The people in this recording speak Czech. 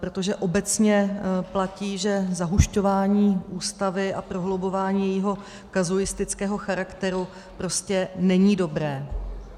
Protože obecně platí, že zahušťování Ústavy a prohlubování jejího kazuistického charakteru prostě není dobré.